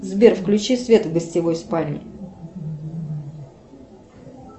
сбер включи свет в гостевой спальне